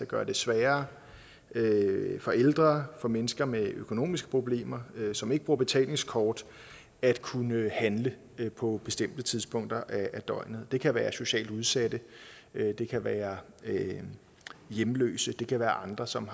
gøre det sværere for ældre og mennesker med økonomiske problemer som ikke bruger betalingskort at kunne handle på bestemte tidspunkter af døgnet det kan være socialt udsatte det kan være hjemløse og det kan være andre som